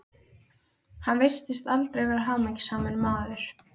Hann virtist aldrei vera hamingjusamur maður.